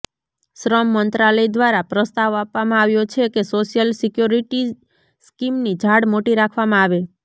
શ્રમ મંત્રાલય દ્વારા પ્રસ્તાવ આપવામાં આવ્યો છે કે સોશિયલ સિક્યોરિટી સ્કીમની જાળ મોટી રાખવામાં આવે